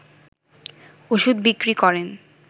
ওষুধ বিক্রি করেন